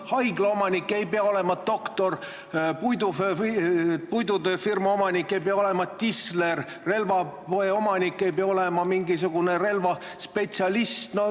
Haigla omanik ei pea olema doktor, puidutööfirma omanik ei pea olema tisler, relvapoe omanik ei pea olema relvaspetsialist.